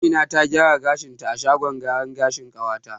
Amina ta gyara kanta a shagon gyaran gashin ƙawata.